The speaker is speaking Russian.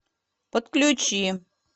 подключи